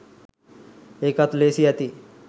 එකත් ලේසි ඇති